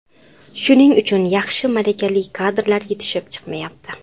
Shuning uchun yaxshi, malakali kadrlar yetishib chiqmayapti.